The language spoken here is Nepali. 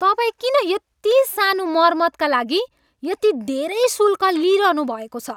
तपाईँ किन यति सानो मर्मतका लागि यति धेरै शुल्क लिइरहनुभएको छ?